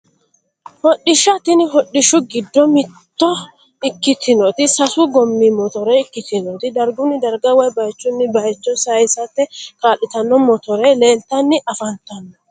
Hodhishsha tini hodhishshu giddo mitto ikkitinoti sasu goommi motore ikkitinoti dargunni darga woyi baychunni baycho saysate kaa'litanno motore leeltanni afantanno